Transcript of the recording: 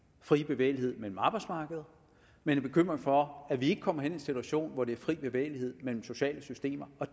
fri bevægelighed mellem arbejdsmarkeder man er bekymret for at vi kommer i en situation hvor det er fri bevægelighed mellem sociale systemer og